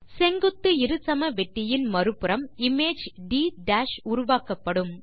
செங்குத்து இருசமவெட்டியின் மறு புறம் இமேஜ் ட் உருவாக்கப்படும்